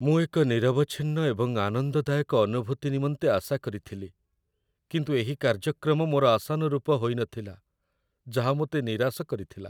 ମୁଁ ଏକ ନିରବଚ୍ଛିନ୍ନ ଏବଂ ଆନନ୍ଦଦାୟକ ଅନୁଭୂତି ନିମନ୍ତେ ଆଶା କରିଥିଲି, କିନ୍ତୁ ଏହି କାର୍ଯ୍ୟକ୍ରମ ମୋର ଆଶାନୁରୂପ ହୋଇନଥିଲା, ଯାହା ମୋତେ ନିରାଶ କରିଥିଲା।